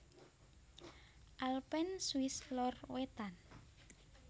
Alpen Swiss Lor wétan